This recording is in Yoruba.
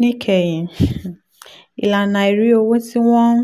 níkẹyìn ìlànà àìrí owó tí wọ́n ń